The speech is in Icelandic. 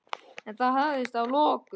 En það hafðist að lokum.